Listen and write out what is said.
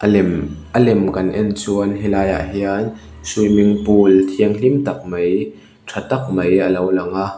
lem a lem kan en chuan helaiah hian swimming pool thiamhlim tak mai tha tak mai a lo lang a.